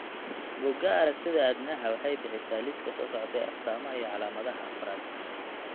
Bugaa aragtida aDdanaha waxay bixisaa liiska soo socda ee astamaha iyo calaamadaha Paragangliomaka afraad